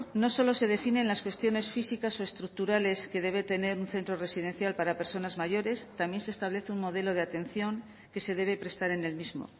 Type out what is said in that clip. no solo se definen las cuestiones físicas o estructurales que debe tener un centro residencial para personas mayores también se establece un modelo de atención que se debe prestar en el mismo